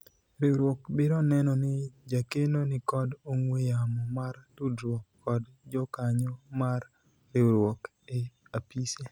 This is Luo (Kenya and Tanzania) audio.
riwruok biro neno ni jakeno nikod ong'we yamo mar tudruok kod jokanyo mar riwruok e apise